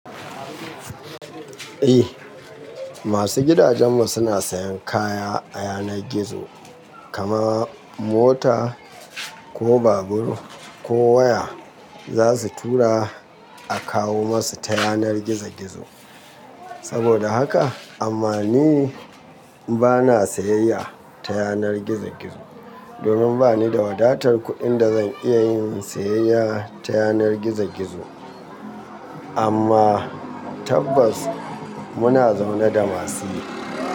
Eh, masu gidajenmu suna sayan kaya a yanar gizo, kama mota ko babur ko waya za su tura a kawo masu ta yanar gizo gizo. Saboda haka amma ni bana sayayya ta yanar gizo gizo, domin bani da wadatar kuɗin da zan iya yin sayayya ta yanar gizo gizo. Amma tabbas muna zaune da masu yi.